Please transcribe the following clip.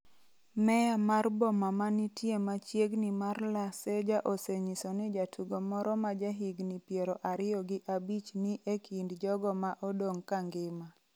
Meya mar boma manitie machiegni mar La Ceja osenyiso ni jatugo moro ma ja higni piero ariyo gi abich ni e kind jogo ma odong’ kangima.